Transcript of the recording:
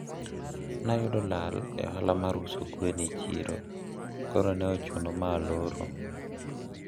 nayudo lal e ohala mar uso gwen e siro koro ne ochuno ma aloro